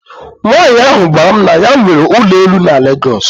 Nwanyị ahụ gwara m na ya nwere ụlọ elu na Lagos.